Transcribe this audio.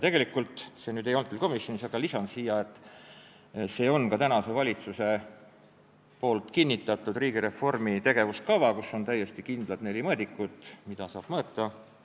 Tegelikult – seda ei arutatud küll komisjonis, aga ma lisan selle siia – on praegune valitsus kinnitanud riigireformi tegevuskava, kus on täiesti kindlad neli mõõdikut, mida saab mõõta.